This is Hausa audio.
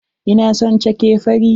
Ina son cake fari.